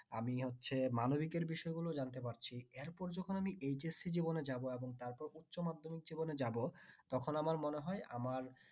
আমি হচ্ছে মানবিকের বিষয় গুলোও জানতে পারছি এরপর যখন আমি HSC জীবনে যাব এবং তারপর উচ্চমাধ্যমিক জীবনে যাব তখন আমার মনে হয় আমার